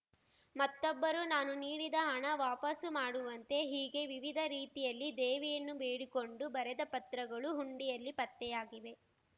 ಮತ್ತೊಬ್ಬರು ನಾನು ನೀಡಿದ ಹಣ ವಾಪಸು ಮಾಡುವಂತೆ ಹೀಗೆ ವಿವಿಧ ರೀತಿಯಲ್ಲಿ ದೇವಿಯನ್ನು ಬೇಡಿಕೊಂಡು ಬರೆದ ಪತ್ರಗಳು ಹುಂಡಿಯಲ್ಲಿ ಪತ್ತೆಯಾಗಿವೆ